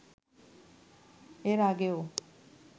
এর আগেও